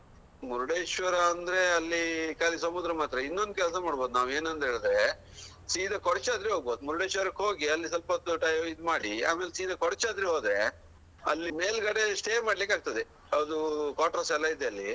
ಮುರ್ಡೇಶ್ವರ ಅಂದ್ರೆ ಅಲ್ಲಿ ಕಾಲಿ ಸಮುದ್ರ ಮಾತ್ರ ಇನ್ನೊಂದು ಕೆಲ್ಸ ಮಾಡ್ಬಹುದು ನಾವ್ ಏನಂದ್ರೆ ಹೇಳಿದ್ರೆ ಸೀದಾ ಕೊಡಚಾದ್ರಿ ಹೋಗ್ಬಹುದು ಮುರ್ಡೇಶ್ವರಕ್ಕೆ ಹೋಗಿ ಅಲ್ಲಿ ಸ್ವಲ್ಪ ಹೊತ್ತು time ಇದ್ ಮಾಡಿ ಆಮೇಲೆ ಸೀದಾ ಕೊಡಚಾದ್ರಿ ಹೋದ್ರೆ ಅಲ್ಲಿ ಮೇಲ್ ಗಡೆ stay ಮಾಡ್ಲಿಕಾಗ್ತದೆ ಅದು quarters ಎಲ್ಲಾ ಇದೆ ಅಲ್ಲಿ.